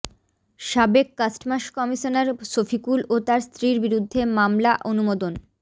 সাবেক customs commissioner Shafiqul ও তার স্ত্রীর বিরুদ্ধে মামলা অনুমোদন